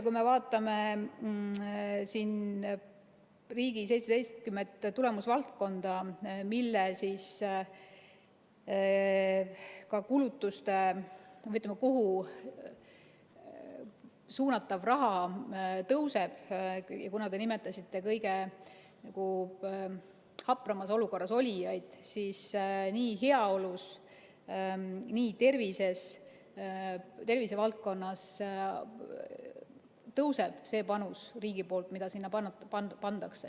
Kui me vaatame riigi seitsetteistkümmet tulemusvaldkonda, kuhu suunatav raha läheb, siis kuna te nimetasite kõige hapramas olukorras olijaid, ütlen, et nii heaolus kui ka tervisevaldkonnas tõuseb see panus, mis riik sinna paneb.